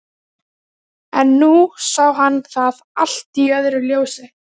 En nú sá hann það allt í öðru ljósi.